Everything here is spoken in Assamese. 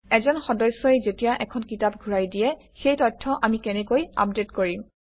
এজন সদস্যই যেতিয়া এখন কিতাপ ঘূৰাই দিয়ে সেই তথ্য আমি কেনেকৈ আপডেট কৰিম